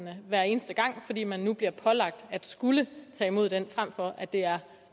hver eneste gang fordi man nu bliver pålagt at skulle tage imod den frem for at det er